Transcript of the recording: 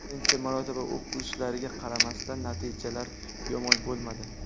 Birinchi marotaba o‘q uzishlariga qaramasdan, natijalar yomon bo‘lmadi.